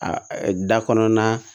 A da kɔnɔna